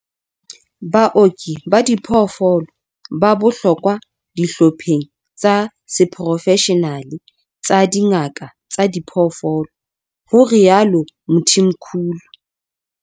Baoki ba diphoofolo ba bohlokwa dihlopheng tsa seporofeshenale tsa dingaka tsa diphoofolo, ho rialo Mthimkhulu.